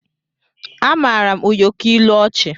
Amaara m ụyọkọ ilu ọchị